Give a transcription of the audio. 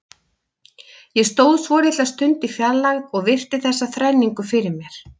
Ég stóð svolitla stund í fjarlægð og virti þessa þrenningu fyrir mér.